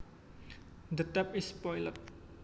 The tap is spoiled